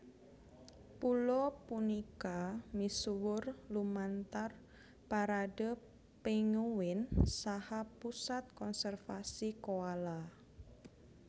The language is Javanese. Pulo punika misuwur lumantar Parade Penguin saha Pusat Konservasi Koala